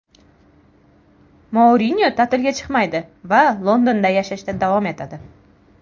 Mourinyo ta’tilga chiqmaydi va Londonda yashashda davom etadi.